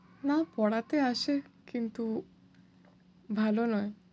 না, পড়াতে আসে। কিন্তু ভালো নয়।